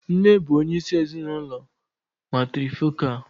Nne bụ onyeisi ezinụlọ matrifocal.